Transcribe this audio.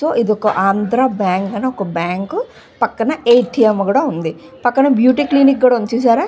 So ఇది Andhra bank అని ఒక బ్యాంకు పక్కన ఎ. టి. ఎం. కూడా వుంది పక్కన బ్యూటీ క్లినిక్ కూడా వుంది చూసారా.